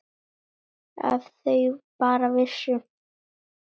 Ef þau bara vissu.